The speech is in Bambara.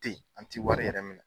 Ten an ti wari yɛrɛ minɛ.